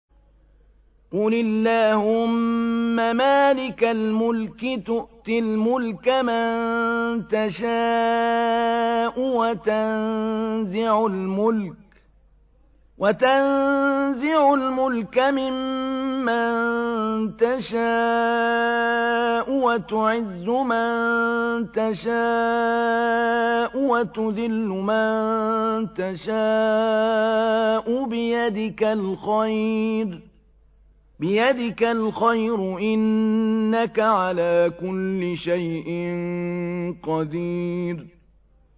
قُلِ اللَّهُمَّ مَالِكَ الْمُلْكِ تُؤْتِي الْمُلْكَ مَن تَشَاءُ وَتَنزِعُ الْمُلْكَ مِمَّن تَشَاءُ وَتُعِزُّ مَن تَشَاءُ وَتُذِلُّ مَن تَشَاءُ ۖ بِيَدِكَ الْخَيْرُ ۖ إِنَّكَ عَلَىٰ كُلِّ شَيْءٍ قَدِيرٌ